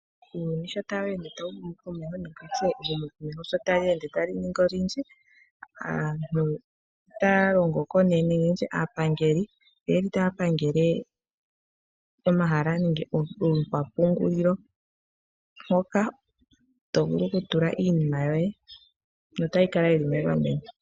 Uuyuni sho tawu ende tawu humu komeho nehumokomeho sho tali ningi olindji aapangeli oyeli taya pangele omahala nenge ookwapungulilo moka tovulu oku tula iinima yoye notayi kala yili megameno.